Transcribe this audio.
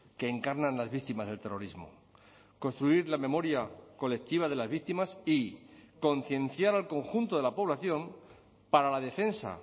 que encarnan las víctimas del terrorismo construir la memoria colectiva de las víctimas y concienciar al conjunto de la población para la defensa